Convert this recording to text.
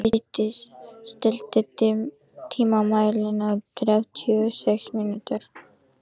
Freydís, stilltu tímamælinn á þrjátíu og sex mínútur.